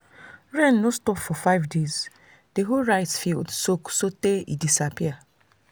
rain no stop for five days the whole rice field soak sotey e disappear.